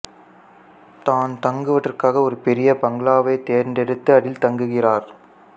தான் தங்குவதற்காக ஒரு பெரிய பங்களாவைத் தேர்ந்தெடுத்து அதில் தங்குகிறார்